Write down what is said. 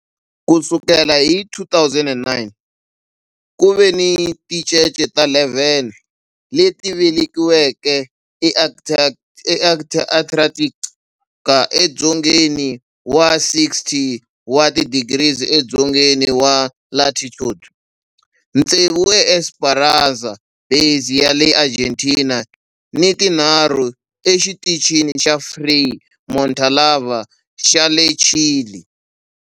Ku sukela hi 2009, ku ve ni tincece ta 11 leti velekiweke eAntarctica, edzongeni wa 60 wa tidigri edzongeni wa latitude, tsevu eEsperanza Base ya le Argentina ni tinharhu exitichini xa Frei Montalva xa le Chile.